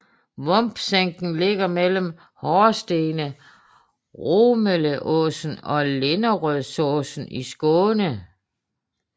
Vombsänkan ligger mellem horstene Romeleåsen og Linderödsåsen i Skåne